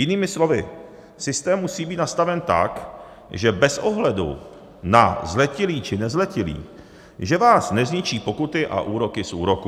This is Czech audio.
Jinými slovy, systém musí být nastaven tak, že bez ohledu na zletilý, či nezletilý, že vás nezničí pokuty a úroky z úroků.